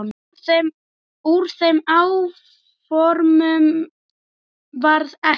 Úr þeim áformum varð ekki.